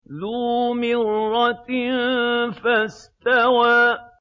ذُو مِرَّةٍ فَاسْتَوَىٰ